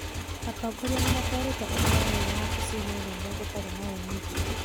Atongoria nĩmatwarĩte ũhoro ũyũ wabici-inĩ nene gũtarĩ na ũmithio